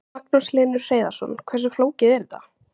Magnús Hlynur Hreiðarsson: Hversu flókið er þetta?